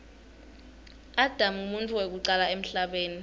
adam nqumuntfu wekucala emhlabeni